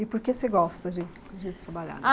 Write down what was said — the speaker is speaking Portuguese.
E por que você gosta de de trabalhar?